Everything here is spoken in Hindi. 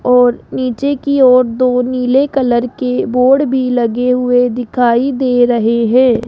और नीचे की ओर दो नीले कलर के बोर्ड भी लगे हुए दिखाई दे रहे हैं।